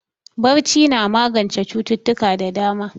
Barci na magance cututtuka da dama